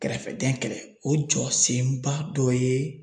Kɛrɛfɛdɛn kɛlɛ o jɔ senba dɔ ye